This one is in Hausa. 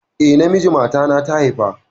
Eh, namiji matana ta haifa